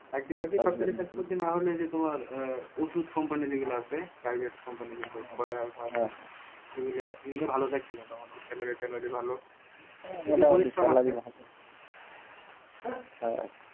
চাকরি-বাকরি সরকারি না হলেও ওষুধ company যে গুলো আছে private company যেগুলো আছে square সেগুলো ভালো চাকরি মোটামুটি salary ভালো,